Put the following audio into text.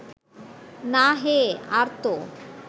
না হে, আর ত